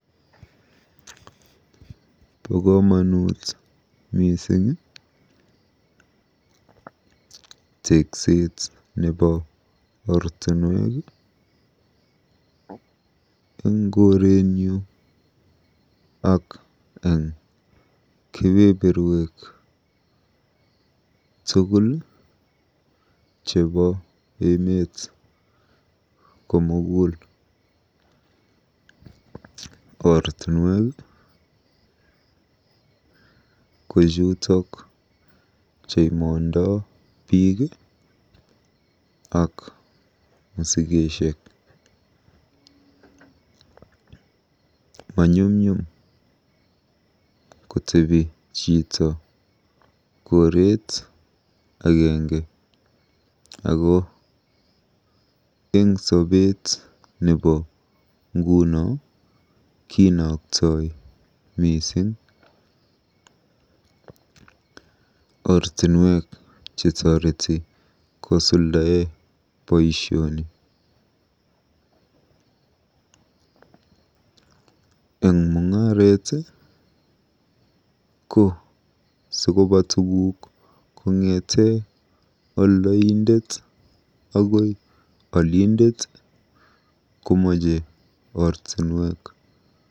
Bo komonut mising tekset nebo ortunwek eng korenyu ak eng kebeberwek tugul chebo emet komugul. Ortinwek ko chutok cheimondoi biiik ak musikesiek. Maqnyumnyum kotebi chito koreet agenge ako eng sobeet nebo nguno kinoktoi mising. Ortinwek chetoreti kosuldae boisioni. Eng mung'aret ko sikoba tug kongete oldoindet akoi olindet ko meche ortinwek.